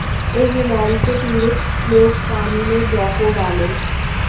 इस बीमारी से पीड़ित लोग पानी में जौ को उबालें